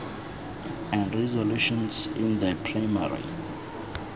and resolutions in the primary